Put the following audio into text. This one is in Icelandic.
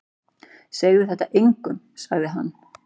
Segðu þetta engum sagði hann.